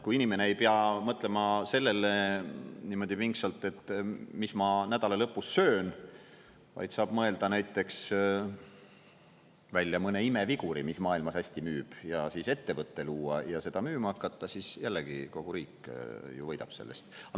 Kui inimene ei pea mõtlema sellele niimoodi pingsalt, et mis ma nädala lõpus söön, vaid saab mõelda näiteks välja mõne imeviguri, mis maailmas hästi müüb, ja siis ettevõte luua ja seda müüma hakata, siis jällegi: kogu riik ju võidab sellest.